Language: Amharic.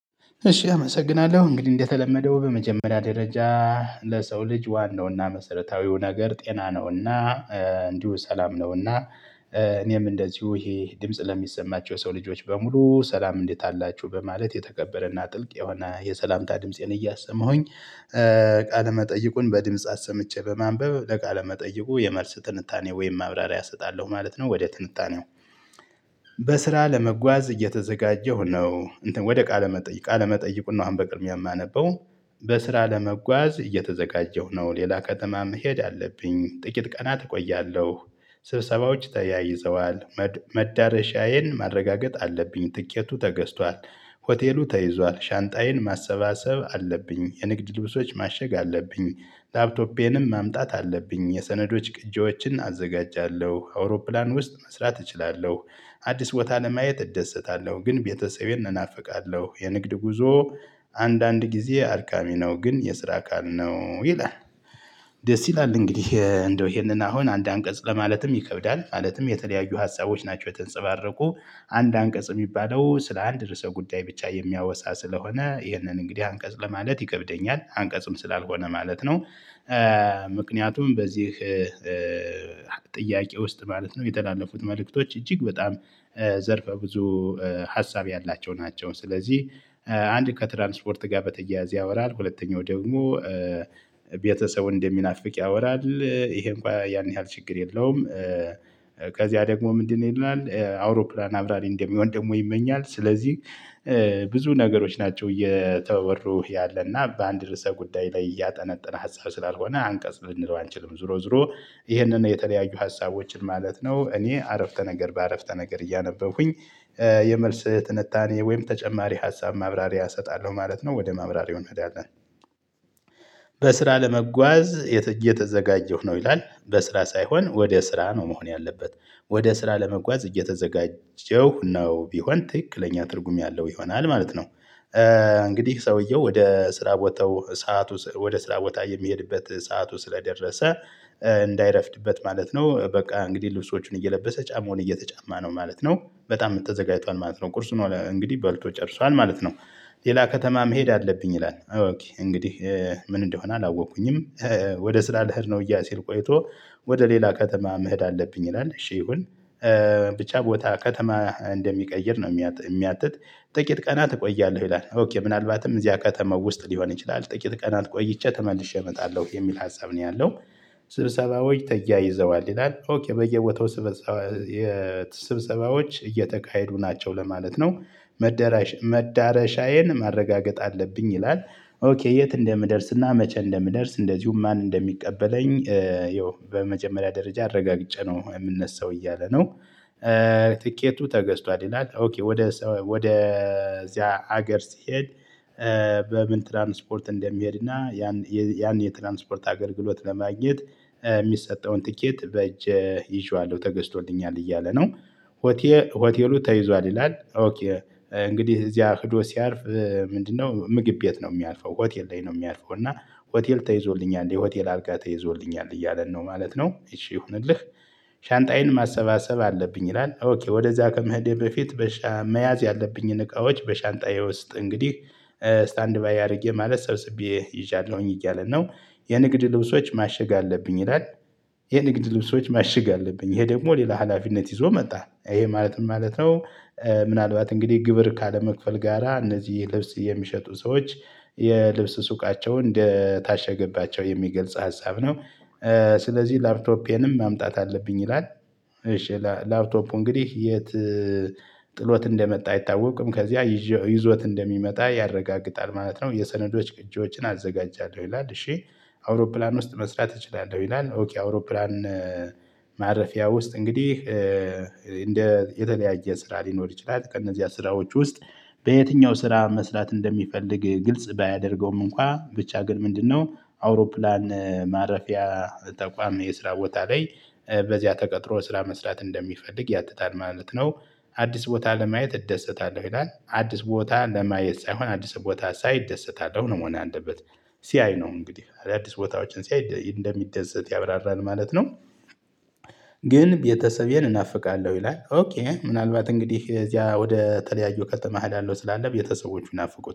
እሺ አመሰግናለሁ እንግዲህ እንደተለመደው በመጀመሪያ ደረጃ ለሰው ልጅ ዋናውና መሰረታዊው ነገር ጤና ነውና እንዲሁ ሰላም ነውና። እኔም እንደዚሁ ይሄ ድምጽ ለሚሰማቸው ሰው ልጆች በሙሉ ሰላም እንዴት? አላችሁ በማለት የተከበረና ጥልቅ የሆነ የሰላምታ ድምፄን እያሰመሁኝ ቃለ መጠይቁን በድምጽ አሰምቼ በማንበብ ለቃለ መጠይቁ የመልስ ትንታኔ ወይም ማብራሪያ እሰጣለሁ ማለት ነው ወደ ትንጣኔው። በስራ ለመጓዝ እየተዘጋጀሁ ነው እንትን ወደ ቃለ መጠይቅ ቃለ መጠይቁና አሁን በቅድሚያ የማነበው። በስራ ለመጓዝ እየተዘጋጀሁ ነው ሌላ ከተማ መሄድ አለብኝ ጥቂት ቀናት እቆያለሁ። ስብሰባዎች ተያይዘዋል። መዳረሻዬን ማረጋገጥ አለብኝ ትኬቱ ተገዝቷል። ሆቴሉ ተይዟል ሻንጣዬን ማሰባሰብ አለብኝ የንግድ ልብሶች ማሸግ አለብኝ። ላፕቶፔንም ማምጣት አለብኝ የሰነዶች ቅጂዎችን አዘጋጃለሁ አውሮፕላን ውስጥ መስራት እችላለሁ። አዲስ ቦታ ለማየት እደሰታለሁ ግን ቤተሰቤን እናፍቃለሁ። የንግድ ጉዞ አንዳንድ ጊዜ አድካሚ ነው ግን የስራ አካል ነው ይላል። ደስ ይላል እንግዲህ እንደው ይሄንን አሁን አንድ አንቀጽ ለማለትም ይከብዳል። ማለትም የተለያዩ ሀሳቦች ናቸው የተንጸባረቁ። አንድ አንቀጽ የሚባለው ስለ አንድ ርዕሰ ጉዳይ ብቻ የሚያወሳ ስለሆነ ይህንን እንግዲህ አንቀጽ ለማለት ይከብደኛል አንቀጽም ስላልሆነ ማለት ነው። ምክንያቱም በዚህ ጥያቄ ውስጥ ማለት ነው የተላለፉት መልእክቶች እጅግ በጣም ዘርፈ ብዙ ሀሳብ ያላቸው ናቸው። ስለዚህ አንድ ከትራንስፖርት ጋር በተያያዘ ያወራል ሁለተኛው ደግሞ ቤተሰብ እንደሚናፍቅ ያወራል ይሄ እንኳን ያን ያህል ችግር የለውም። ከዚያ ደግሞ ምንድነው? ይላል አውሮፕላን አብራሪ እንደሚሆን ደግሞ ይመኛል። ስለዚህ ብዙ ነገሮች ናቸው እየተወሩህ ያለና በአንድ ርዕሰ ጉዳይ ላይ እያጠነጠነ ሀሳብ ስላልሆነ አንቀጽ ልንለው አንችልም። ዞሮ ዞሮ ይሄንን የተለያዩ ሀሳቦችን ማለት ነው። እኔ አረፍተ ነገር በአረፍተ ነገር እያነበብኩኝ የመልስ ትንታኔ ወይም ተጨማሪ ሀሳብ ማብራሪያ እሰጣለሁ ማለት ነው። ወደ ማብራሪያ እንሄዳለን። በስራ ለመጓዝ እየተዘጋጀሁ ነው ይላል። በስራ ሳይሆን ወደ ስራ ነው መሆን ያለበት ወደ ስራ ለመጓዝ እየተዘጋጀሁ ነው ቢሆን ትክክለኛ ትርጉም ያለው ይሆናል ማለት ነው። እንግዲህ ሰውየው ወደ ስራ ቦታው ሰዓት ወደ ስራ ቦታ የሚሄድበት ሰዓቱ ስለደረሰ እንዳይረፍድበት ማለት ነው። በቃ እንግዲህ ልብሶቹን እየለበሰ ጫማውን እየተጫማ ነው ማለት ነው። በጣም ተዘጋጅቷል ማለት ነው። ቁርሱን እንግዲህ ባልቶ ጨርሷል ማለት ነው። ሌላ ከተማ መሄድ አለብኝ ይላል እንግዲህ ምን እንደሆነ አላወቅኩኝም። ወደ ስራ ልሄድ ነው እያ ሲል ቆይቶ ወደ ሌላ ከተማ መሄድ አለብኝ ይላል። እሺ ይሁን። ብቻ ቦታ ከተማ እንደሚቀይር ነው የሚያትት። ጥቂት ቀናት እቆያለሁ ይላል። ኦኬ ምናልባትም እዚያ ከተማ ውስጥ ሊሆን ይችላል ጥቂት ቀና ቆይቼ ተመልሼ እመጣለሁ የሚል ሀሳብ ነው ያለው። ስብሰባዎች ተያይዘዋል ይላል። ኦኬ በየቦታው ስብሰባዎች እየተካሄዱ ናቸው ለማለት ነው። መዳረሻ መዳረሻዬን ማረጋገጥ አለብኝ ይላል። ኦኬ የት? እንደምደርስና መቼ እንደምደርስ እንደዚሁም ማን እንደሚቀበለኝ ይሄው በመጨመሪያ ደረጃ አረጋግጬ ነው የምነሳው እያለ ነው። ትኬቱ ተገዝቷል ይላል። ኦኬ ወደ ወደ እዚያ ሀገር ሲሄድ። በምን ትራንስፖርት እንደሚሄድና ያን ያን የትራንስፖርት አገልግሎት ለማግኘት የሚሰጠውን ትኬት በእጅ ይዤዋለሁ ተገዝቶልኛል እያለ ነው። ሆቴሉ ተይዟል ይላል። ኦኬ እንግዲህ እዚያ ሄዶ ሲያርፍ ምንድነው? ምግብ ቤት ነው ሚያርፈው ሆቴል ላይ ነው ሚያርፈው እና። ሆቴል ተይዞልኛል የሆቴል አርጋ ተይዞልኛል እያለን ነው ማለት ነው። እሺ ይሁንልህ። ሻንጣዬን ማሰባሰብ አለብኝ ይላል። ኦኬ ወደዛ ከመሄዴ በፊት መያዝ ያለብኝን እቃዎች በሻንጣዬ ውስጥ እንግዲህ ስታንድባይ አድርጌ ማለት ሰብስቤ ይዣለሁኝ እያለ ነው። የንግድ ልብሶች ማሽግ አለብኝ ይላል። የንግድ ልብሶች ማሽግ አለብኝ ይሄ ደግሞ ሌላ ሀላፊነት ይዞ መጣ ይሄ ማለት ምን ማለት ነው? ምናልባት እንግዲህ ግብር ካለመክፈል ጋራ እነዚህ ልብስ የሚሸጡ ሰዎች የልብስ ሱቃቸውን እንደታሸገባቸው የሚገልጽ ሀሳብ ነው። ስለዚህ ላፕቶፒያንም ማምጣት አለብኝ ይላል። እሺ ላፕቶፑ እንግዲህ የት? ጥሎት እንደመጣ አይታወቅም ከዚያ ይዞት እንደሚመጣ ያረጋግጣል ማለት ነው። የሰነዶች ቅጂዎችን አዘጋጃለሁ ይላል እሺ። አውሮፕላን ውስጥ መስራት እችላለሁ ይላል። ኦኬ አውሮፕላን። ማረፊያ ውስጥ እንግዲህ እንደ የተለያየ ስራ ሊኖር ይችላል። ከእነዚህ ስራዎች ውስጥ። በየትኛው ስራ መስራት እንደሚፈልግ ግልጽ ባያደርገውም እንኳን ብቻ ግን ምንድነው? አውሮፕላን ማረፊያ ተቋም የስራ ቦታ ላይ በዚያ ተቀጥሮ ስራ መስራት እንደሚፈልግ ያትታል ማለት ነው። አዲስ ቦታ ለማየት እደሰታለሁ ይላል አዲስ ቦታ ለማየት ሳይሆን አዲስ ቦታ ሳይ እደሰታለሁ ነው መሆን ያለበት። ሲያይ ነው እንግዲህ አዳአዲስ ቦታዎችን ሲያይ እንደሚደሰት ያብራራል ማለት ነው። ግን ቤተሰቤን እናፍቃለሁ ይላል ኦኬ ምናልባት እንግዲህ እዚያ ወደ ተለያዩ ከተማህ እሄዳለሁ ስላለ ቤተሰቦቹ ናፍቁት